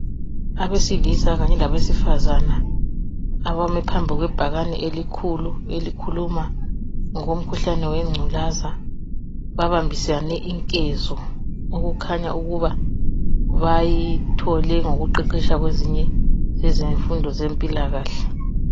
Abesilisa kanye labesifazana abame phambi kwebhakani elikhulu elikhuluma ngenculaza babambisane inkezo okukhanya ukuba bayithole ngokuqeqetsha kwezinye yezimfundo zempilakahle